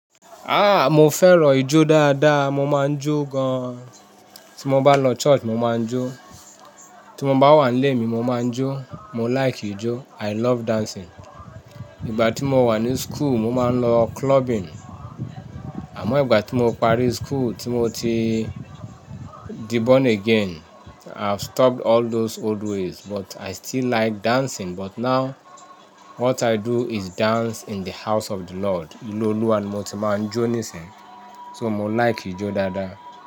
Ah! Mo fẹ́ràn ijó dáadáa, mo máa ń jó gan-an. Tí mo bá lọ church, mo máa ń jó. Tí mo bá wà nílé mi, mo máa ń jó. Mo like ijó. I love dancing. Ìgbà tí mo wà ní school, mo máa ń lọ clubbing. Àmọ́ ìgbà tí mo parí school, tí mo ti di born again, I've stopped all those old ways but i still like dancing but now what i do is dance in the house of the Lord. Ilé olúwa ni mo tí máa ń jó nísìnyí. So mo like ijó dáadáa.